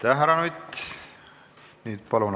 Aitäh, härra Nutt!